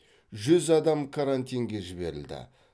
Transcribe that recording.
жүз адам карантинге жіберілді